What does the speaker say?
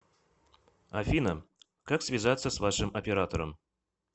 афина как связаться с вашим оператором